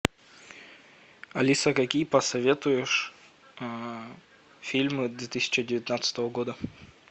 алиса какие посоветуешь фильмы две тысячи девятнадцатого года